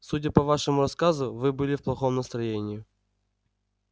судя по вашему рассказу вы были в плохом настроении